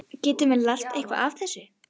Getum við lært eitthvað af þessu?